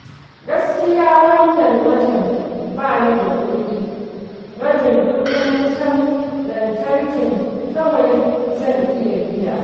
Gaskiya wannan watan ba ni da kuɗi, rabin kuɗin wutar lantarkin kawai zan iya biya